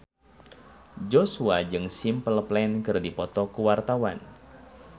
Joshua jeung Simple Plan keur dipoto ku wartawan